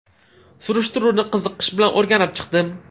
Surishtiruvni qiziqish bilan o‘rganib chiqdim.